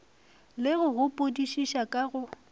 le go gopodišiša ka go